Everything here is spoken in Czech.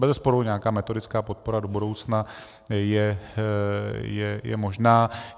Bezesporu nějaká metodická podpora do budoucna je možná.